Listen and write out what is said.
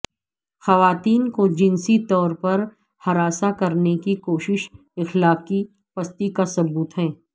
خواتین کو جنسی طور پر ہراساں کرنے کی کوشش اخلاقی پستی کا ثبوت ہے